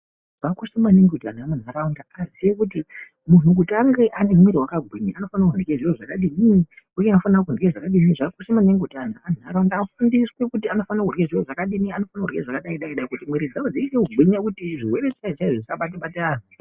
Zvakakosha maningi kuti antu emundaraunda azive kuti muntu ange ane muwiri wakagwinya anofanire kurya zviro zvakadinii uye anofanire kurya zvakadini zvakakoshe maningi kuti antu emundaraunda afundiswe kuti anofanire kurya zvakadini anofanire kurya zvakadai dai dai kuti muwiri dzavo dzichitogwinya kuti zvirwere chaizvo chaizvo zvisabate bate antu.